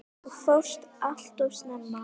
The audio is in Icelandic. Þú fórst allt of snemma.